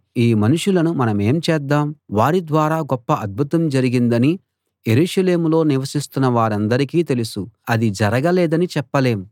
ఈ మనుషులను మనమేం చేద్దాం వారిద్వారా గొప్ప అద్భుతం జరిగిందని యెరూషలేములో నివసిస్తున్న వారందరికీ తెలుసు అది జరగలేదని చెప్పలేం